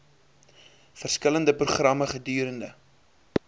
verskillende programme gedurende